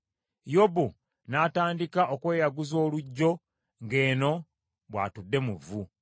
Yobu n’atandika okweyaguzanga oluggyo ng’eno bw’atudde mu vvu.